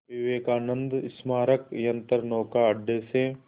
विवेकानंद स्मारक यंत्रनौका अड्डे से